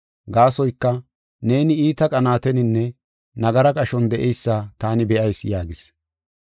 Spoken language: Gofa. Gaasoyka, neeni iita qanaateninne nagara qashon de7eysa taani be7ayis” yaagis.